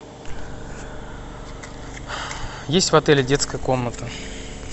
есть в отеле детская комната